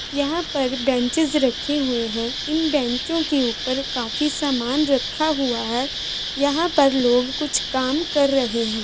यहां पर बेंचेज रखे हुए है इन बेंचो के ऊपर काफी सामान रखा हुआ है यहां पर लोग कुछ काम कर रहे हैं।